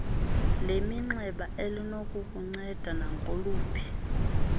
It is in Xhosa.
leminxeba elinokukunceda nangoluphi